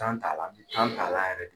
t'a la, t'a la yɛrɛ d